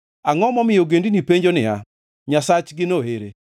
Angʼo momiyo ogendini penjo niya, “Nyasachgino ere?”